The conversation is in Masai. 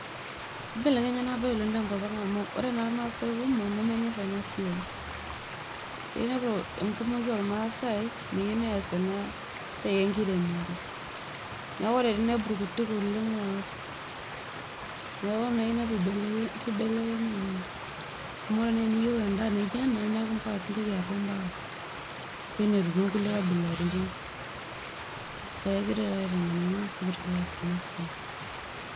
ibelekenya ena bae oleng te nkop ang amu ore naa irmaase kumok nemenyor oleng ena siai. inepu enkumoki oormaasae, meyieu nees ena siai enkiremore. neeku ore pee inepu irkutik oleng oas. kibelekenya oleng. amu ore naa eniyieu edaa naijo ena mpaka nilo enetii kulie kabilaritin. neeku kegirae taata aiteng'en irmaasae pee ees eana siai.